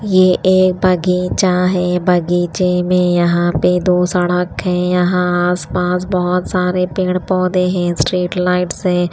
ये एक बगीचा है बगीचे में यहां पे दो सड़क हैं यहां आस पास बहोत सारे पेड़ पौधे हैं स्ट्रीट लाइट्स हैं।